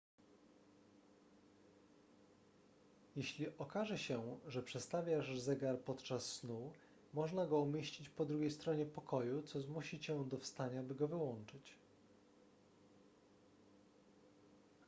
jeśli okaże się że przestawiasz zegar podczas snu można go umieścić po drugiej stronie pokoju co zmusi cię do wstania by go wyłączyć